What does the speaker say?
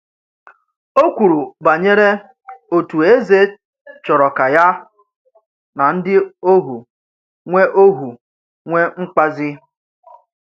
Ó kwùrù bànyèrè òtù èzè chọ̀rọ̀ ka yà nà ndị́ òhù nwè òhù nwè mkpazi.